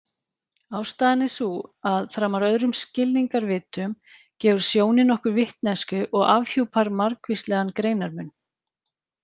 Ástæðan er sú að framar öðrum skilningarvitum gefur sjónin okkur vitneskju og afhjúpar margvíslegan greinarmun.